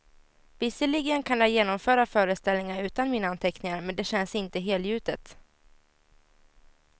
Visserligen kan jag genomföra föreställningarna utan mina anteckningar, men det känns inte helgjutet.